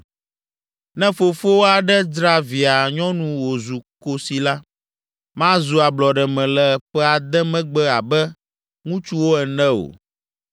“Ne fofo aɖe dzra via nyɔnu wòzu kosi la, mazu ablɔɖeme le ƒe ade megbe abe ŋutsuwo ene o.